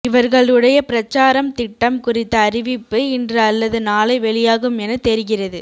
இவர்களுடைய பிரச்சாரம் திட்டம் குறித்த அறிவிப்பு இன்று அல்லது நாளை வெளியாகும் என தெரிகிறது